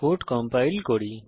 code compile করি